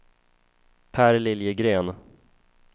Per Liljegren